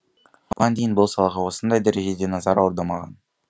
бұған дейін бұл салаға осындай дәрежеде назар аудармаған